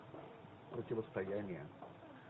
противостояние